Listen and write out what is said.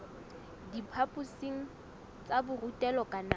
diphaphosing tsa borutelo ka nako